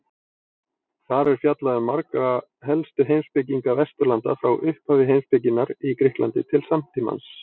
Þar er fjallað um marga helstu heimspekinga Vesturlanda frá upphafi heimspekinnar í Grikklandi til samtímans.